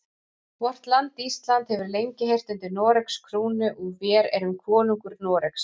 Vort land Ísland hefur lengi heyrt undir Noregs krúnu og vér erum konungur Noregs.